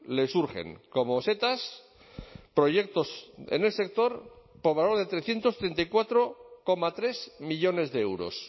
le surgen como setas proyectos en el sector por valor de trescientos treinta y cuatro coma tres millónes de euros